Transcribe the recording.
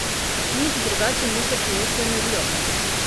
Nič drugače ni s fiesto in riom.